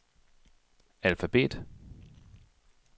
alfabet